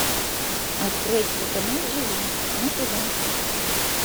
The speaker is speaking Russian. открой телеканал живи на тв